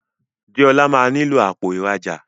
Deola má nilo Àpò ìrajà